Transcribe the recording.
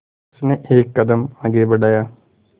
उसने एक कदम आगे बढ़ाया